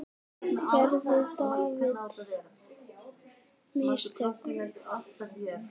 Gerði David mistök?